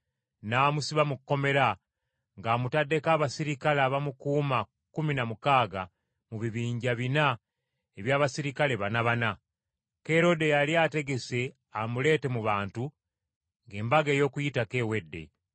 n’amusiba mu kkomera, ng’amutaddeko abaserikale abamukuuma kkumi na mukaaga mu bibinja bina eby’abaserikale banabana. Kerode yali ategese amuleete mu bantu, ng’Embaga y’Okuyitako ewedde.